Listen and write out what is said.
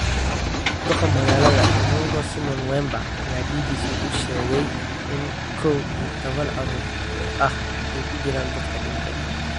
Duqa magaalada Inongo Simon Wemba ayaa BBC u sheegay in kow iyo tobaan carruur ah ay ku jiraan dadka dhintay.